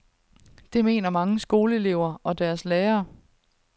Det mener mange skoleelever og deres lærere.